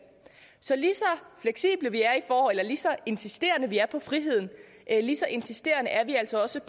så lige så insisterende vi er til friheden lige så insisterende er vi altså også